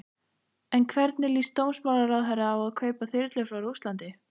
En hvernig líst dómsmálaráðherra á að kaupa þyrlur frá Rússlandi?